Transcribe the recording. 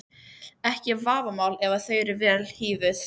Ekki vafamál að þau eru vel hífuð.